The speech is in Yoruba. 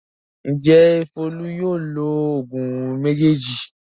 Ǹjẹ́ Folú yóò lo òògùn méjèèjì?